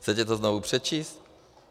Chce to znovu přečíst?